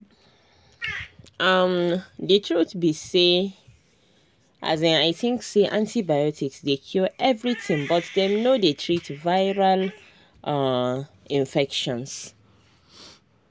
umthe truth be say um i think say antibiotics dey cure everything but dem no dey treat viral um infections.